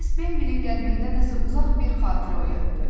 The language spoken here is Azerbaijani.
Bu səs Bembilin qəlbində nəsə uzaq bir xatirə oyatdı.